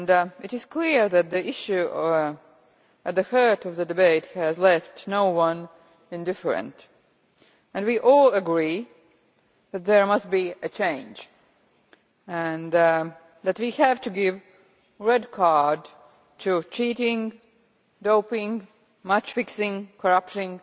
It is clear that the issue at the heart of the debate has left no one indifferent. We all agree that there must be a change and that we have to give a red card to cheating, doping, match fixing, corruption